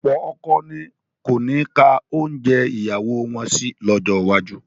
Ọ̀pọ̀ ọkọ ni kò ní ka oúnjẹ ìyàwó wọn sí lọ́jọ́ iwájú